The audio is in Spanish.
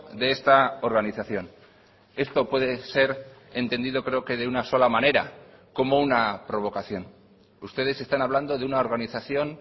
de esta organización esto puede ser entendido creo que de una sola manera como una provocación ustedes están hablando de una organización